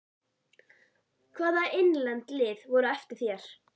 Hvaða innlend lið voru á eftir þér?